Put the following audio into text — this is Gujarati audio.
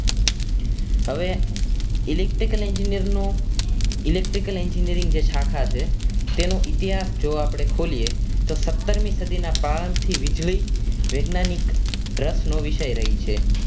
હવે electrical engineer નો electrical engineering જે શાખા છે તેનો ઇતિહાસ જો આપણે ખોલીએ તો સતર મી સદીના ગાળાંનથી વીજળી વૈજ્ઞાનિક રસનો વિષય રહી છે